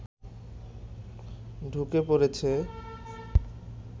ঢুকে পড়ছে